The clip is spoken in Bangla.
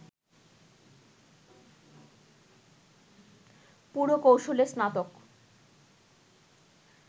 পুরকৌশলে স্নাতক